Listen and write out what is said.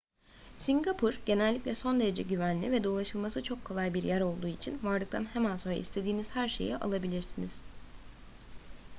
singapur genellikle son derece güvenli ve dolaşılması çok kolay bir yer olduğu için vardıktan hemen sonra istediğiniz her şeyi alabilirsiniz